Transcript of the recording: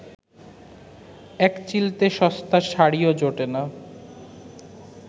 একচিলতে সস্তা শাড়িও জোটে না